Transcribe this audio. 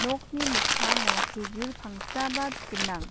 nokni mikkango kejul pangsaba gnang.